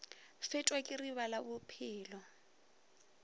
fetwa ke riba la bophelo